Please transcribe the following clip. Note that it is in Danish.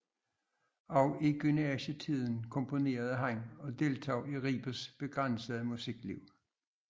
Også i gymnasietiden komponerede han og deltog i Ribes begrænsede musikliv